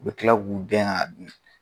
Be tila k'u dɛn a dun